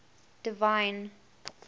divine